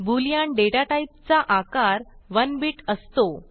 Boolean data टाईपचा आकार 1 bit असतो